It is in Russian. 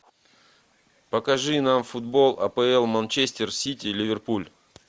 покажи нам футбол апл манчестер сити ливерпуль